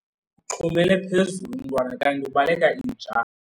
Uxhumele phezulu umntwana kanti ubaleka inja.